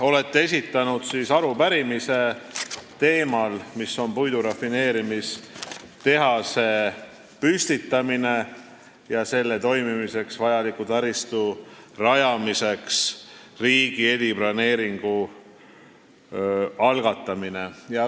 Olete esitanud arupärimise puidurafineerimistehase püstitamiseks ja selle toimimiseks vajaliku taristu rajamiseks riigi eriplaneeringu algatamise teemal.